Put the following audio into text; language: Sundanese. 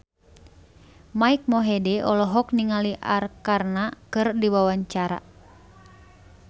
Mike Mohede olohok ningali Arkarna keur diwawancara